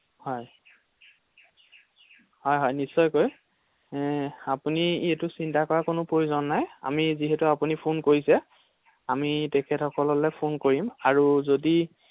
হয়, হয় হয় নিশ্চয়কৈ আপুনি এইটো চিন্তা কৰাৰ কোনো প্ৰয়োজন নাই আমি যিহেতু আপুনি ফোন কৰিছে আমি তেখেত সকললৈ ফোন কৰিম আৰু যদি